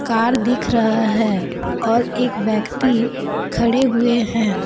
Car दिख रहा है और एक व्यक्ति खड़े हुए हैं।